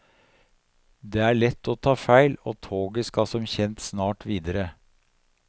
Det er lett å ta feil, og toget skal som kjent snart videre.